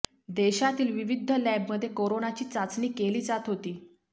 देशातील विविध लॅबमध्ये कोरोनाची चाचणी केली जात होती